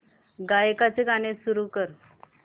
गायकाचे गाणे सुरू कर